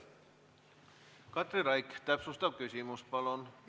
Katri Raik, täpsustav küsimus, palun!